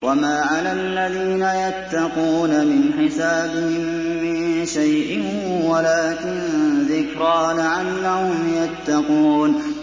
وَمَا عَلَى الَّذِينَ يَتَّقُونَ مِنْ حِسَابِهِم مِّن شَيْءٍ وَلَٰكِن ذِكْرَىٰ لَعَلَّهُمْ يَتَّقُونَ